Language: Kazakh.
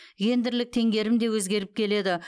гендерлік теңгерім де өзгеріп келеді